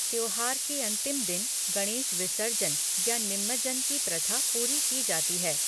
त्योहार के अंतिम दिन गणेश विसर्जन या निमज्जन की प्रथा पूरी की जाती है।